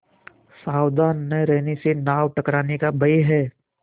सावधान न रहने से नाव टकराने का भय है